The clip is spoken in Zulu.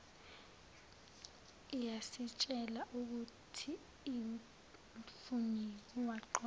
iyasitshela ukuthiumphenyi waqoqa